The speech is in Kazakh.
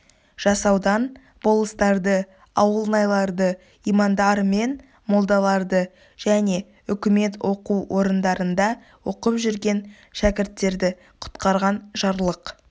жасаудан болыстарды ауылнайларды имандар мен молдалары және үкімет оқу орындарында оқып жүрген шәкірттерді құтқарған жарлық